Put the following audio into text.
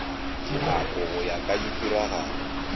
dinako go ya ka ditiragalo